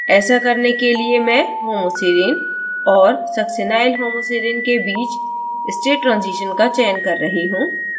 ऐसा करने के लिये मैं homoserine और succinylhomoserine के बीच state transition का चयन कर रही हूँ